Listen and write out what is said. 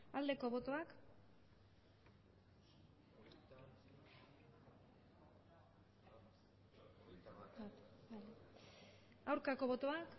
aldeko botoak aurkako botoak